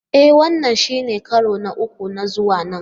E! Wannan shine karo na uku na zuwa nan.